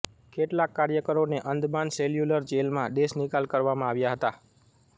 કેટલાક કાર્યકરોને અંદમાન સેલ્યુલર જેલમાં દેશનિકાલ કરવામાં આવ્યા હતા